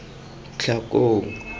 tlhakong